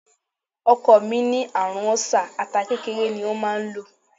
Ọkọ̀ mi ní àrùn ọ́sà, ata kékeré ni a máa ń lò.